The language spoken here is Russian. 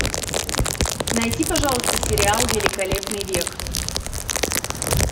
найди пожалуйста сериал великолепный век